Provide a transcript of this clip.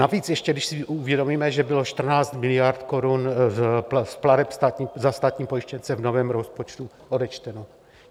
Navíc ještě když si uvědomíme, že bylo 14 miliard korun z plateb za státní pojištěnce v novém rozpočtu odečteno.